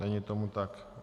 Není tomu tak.